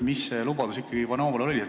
Mida te ikkagi Ivanovale lubasite?